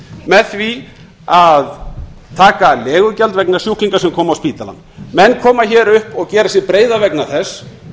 með því að taka legugjald vegna sjúklinga sem komu á spítalann menn koma hingað upp og gera sig breiða vegna þess